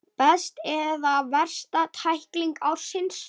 Besta eða versta tækling ársins?